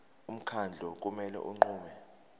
umkhandlu kumele unqume